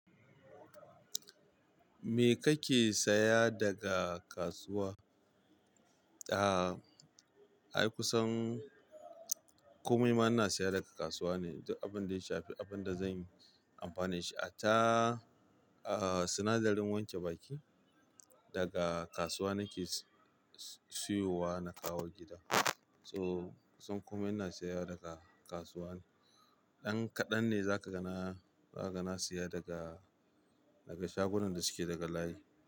Me kake saya daga kasuwa? A'a, ai kusan komai ma ina saya daga kasuwa ne. Duk abinda ya shafi abin da zan yi amfani da shi, hatta, ah, sinadarin wanke baki daga kasuwa nake siyowa na kawo gida. So komai ina siya daga kasuwa ne. Dan kadan ne zakaga na zakaga na siya daga shagunan da suke daga layi.